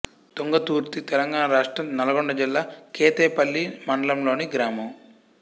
తుంగతుర్తి తెలంగాణ రాష్ట్రం నల్గొండ జిల్లా కేతేపల్లి మండలంలోని గ్రామం